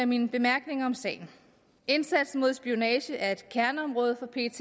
mine bemærkninger om sagen indsatsen mod spionage er et kerneområde for pet